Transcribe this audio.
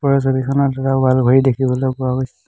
ওপৰৰ ছবিখনত এটা ৱাল ঘড়ী দেখিবলৈ পোৱা গৈছে।